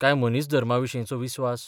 काय मनीसधर्माविशींचो विस्वास?